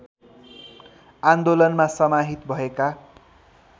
आन्दोलनमा समाहित भएका